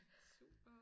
Super